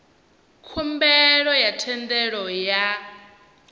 khumbelo ya thendelo ya u